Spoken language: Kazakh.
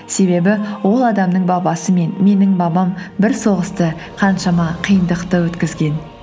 себебі ол адамның бабасы мен менің бабам бір соғысты қаншама қиындықты өткізген